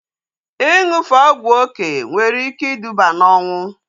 Ịṅụfe ọgwụ oké nwere ike iduba na ọnwụ